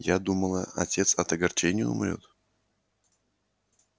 я думала отец от огорчения умрёт